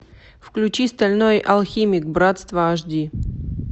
включи стальной алхимик братство аш ди